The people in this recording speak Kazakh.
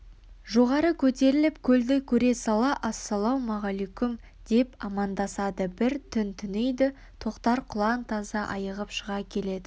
жоғары көтеріліп көлді көре сала ассалаумағалейкүм деп амандасады бір түн түнейді тоқтар құлан-таза айығып шыға келеді